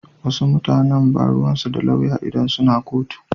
Wasu mutanan ba ruwansu da lauya idan suna kotu.